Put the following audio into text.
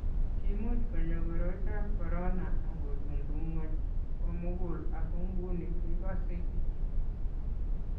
kimuch konyo koroitab ebola aku tumtum ng'ony ko mugul aku nguni kikosei kityo